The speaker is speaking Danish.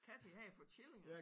Katten han havde fået killinger